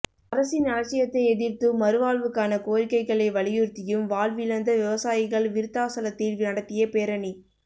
அரசின் அலட்சியத்தை எதிர்த்தும் மறுவாழ்வுக்கான கோரிக்கைகளை வலியுறுத்தியும் வாழ்விழந்த விவசாயிகள் விருத்தாசலத்தில் நடத்திய பேரணி